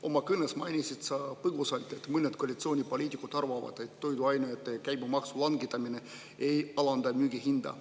Oma kõnes mainisid sa põgusalt, et mõned koalitsioonipoliitikud arvavad, et toiduainete käibemaksu langetamine ei alanda müügihinda.